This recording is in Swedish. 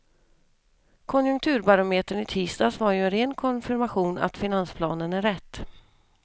Konjunkturbarometern i tisdags var ju en ren konfirmation att finansplanen är rätt.